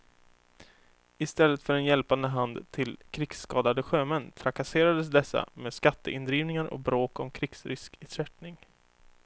Istället för en hjälpande hand till krigskadade sjömän trakasserades dessa med skatteindrivningar och bråk om krigsriskersättning.